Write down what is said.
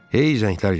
Hey zənglər gəlirdi.